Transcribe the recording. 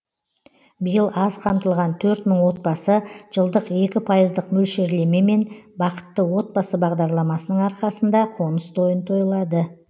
биыл аз қамтылған төрт мың отбасы жылдық екі пайыздық мөлшерлемемен бақытты отбасы бағдарламасының арқасында қоныс тойын тойлады